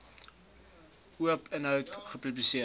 oop inhoud gepubliseer